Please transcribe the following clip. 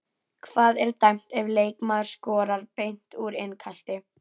Hvað er dæmt ef leikmaður skorar beint úr innkasti?